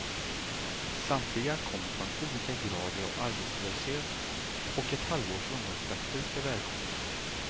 Samtliga kommer från olika grader av arbetslöshet, och ett halvårs ungdomspraktik är välkommet.